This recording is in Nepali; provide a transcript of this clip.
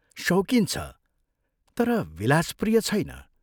शौकिन छ तर विलासप्रिय छैन।